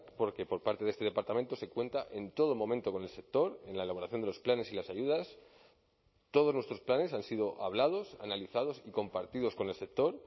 porque por parte de este departamento se cuenta en todo momento con el sector en la elaboración de los planes y las ayudas todos nuestros planes han sido hablados analizados y compartidos con el sector